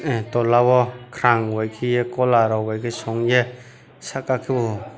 ah towla o khrang bai kiye kola rok bai songye saka kebo.